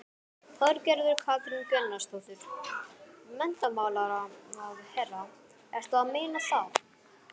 Þorgerður Katrín Gunnarsdóttir, menntamálaráðherra: Ertu að meina þá?